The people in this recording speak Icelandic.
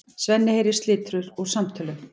Svenni heyrir slitur úr samtölunum.